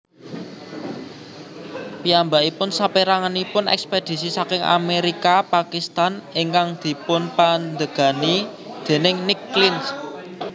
Piyambakipun saperanganipun ekspedisi saking Amerika Pakistan ingkang dipunpandegani déning Nick Clinch